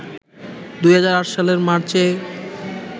২০০৮ সালের মার্চে